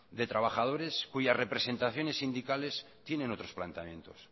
de trabajadores cuyas representaciones sindicales tienen otros planteamientos